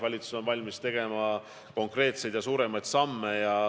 Valitsus on valmis astuma konkreetseid ja suuremaid samme.